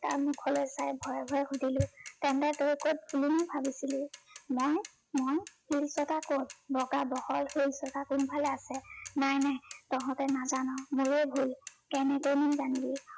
তাৰ মুখলৈ চাই ভয়ে ভয়ে সুধিলো, তেন্তে তই কত বুলি ভাবিছিলি? মই মই শিলচটা কত? বগা বহল শিলচটা কোনফালে আছে? নাই নাই তহঁতে নাজান, মোৰেই ভুল কেনেকৈনো জানিবি?